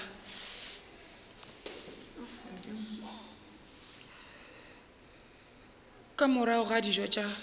ka morago ga dijo tša